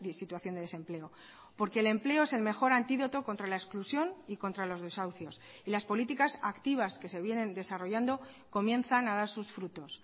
situación de desempleo porque el empleo es el mejor antídoto contra la exclusión y contra los desahucios y las políticas activas que se vienen desarrollando comienzan a dar sus frutos